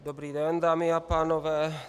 Dobrý den, dámy a pánové.